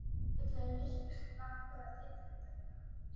Meinvilla í myrkrinu lá hvað þýddi þetta eiginlega?